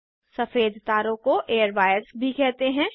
सफ़ेद तारों को एयरवायर्स भी कहते हैं